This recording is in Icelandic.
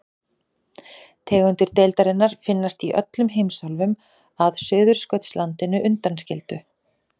Tegundir deildarinnar finnast í öllum heimsálfum að Suðurskautslandinu undanskildu.